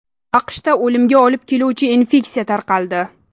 AQShda o‘limga olib keluvchi infeksiya tarqaldi.